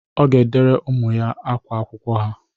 Ọ ga-edere ụmụ ya ákwá akwụkwọ ha.